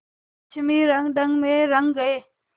पश्चिमी रंगढंग में रंग गए